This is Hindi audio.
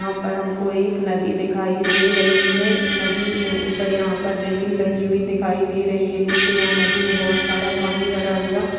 यहाँ पर हमको एक नदी दिखाई दे रही है नदी मे ऊपर यहा पर रेलिंग लगी हुई दिखाई दे रही है नीचे यहा नदी मे बहोत सारा पानी भरा हुआ--